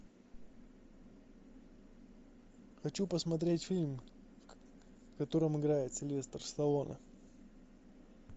хочу посмотреть фильм в котором играет сильвестр сталлоне